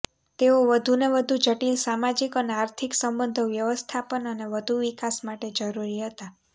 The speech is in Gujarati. તેઓ વધુને વધુ જટિલ સામાજિક અને આર્થિક સંબંધો વ્યવસ્થાપન અને વધુ વિકાસ માટે જરૂરી હતા